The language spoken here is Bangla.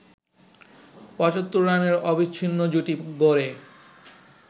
৭৫ রানের অবিচ্ছিন্ন জুটি গড়ে